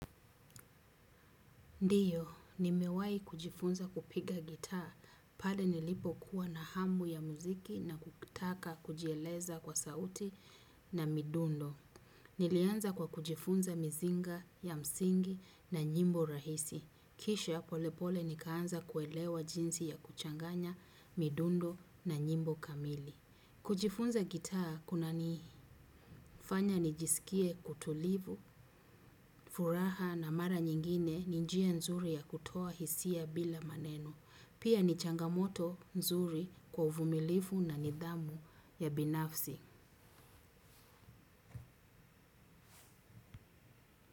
Ndiyo, nimewai kujifunza kupiga gitaa, pale nilipo kuwa na hamu ya muziki na kutaka kujieleza kwa sauti na midundo. Nilianza kwa kujifunza mizinga ya msingi na nyimbo rahisi. Kisha polepole nikaanza kuelewa jinsi ya kuchanganya midundo na nyimbo kamili. Kujifunza gitaa kuna nifanya nijisikie kutulivu, furaha na mara nyingine ni njia nzuri ya kutoa hisia bila maneno. Pia ni changamoto nzuri kwa uvumilivu na nidhamu ya binafsi.